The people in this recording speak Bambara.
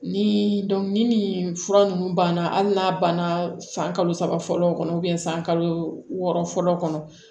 Ni ni fura ninnu banna hali n'a banna san kalo saba fɔlɔ kɔnɔ san kalo wɔɔrɔ fɔlɔ kɔnɔ